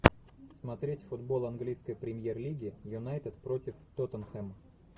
смотреть футбол английской премьер лиги юнайтед против тоттенхэм